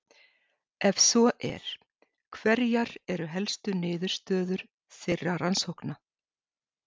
Ef svo er, hverjar eru helstu niðurstöður þeirra rannsókna?